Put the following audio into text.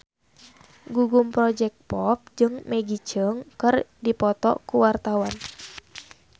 Gugum Project Pop jeung Maggie Cheung keur dipoto ku wartawan